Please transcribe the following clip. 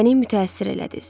Məni mütəəssir elədiniz.